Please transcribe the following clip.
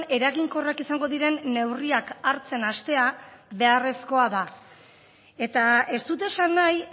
eraginkorrak izango diren neurriak hartzen hastea beharrezkoa da eta ez dut esan nahi